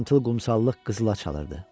Sarımtıl qumsallıq qızıla çalırdı.